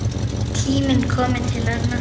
Tími kominn til að losna.